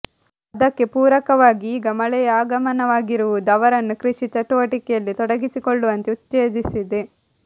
ಅದಕ್ಕೆ ಪೂರಕವಾಗಿ ಈಗ ಮಳೆಯ ಆಗಮನವಾಗಿರುವುದು ಅವರನ್ನು ಕೃಷಿ ಚಟುವಟಿಕೆಯಲ್ಲಿ ತೊಡಗಿಸಿಕೊಳ್ಳುವಂತೆ ಉತ್ತೇಜಿಸಿದೆ